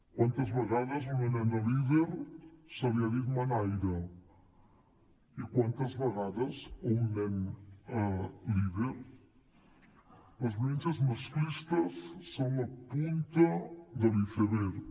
quantes vegades a una nena líder se li ha dit manaire i quantes vegades a un nen líder les violències masclistes són la punta de l’iceberg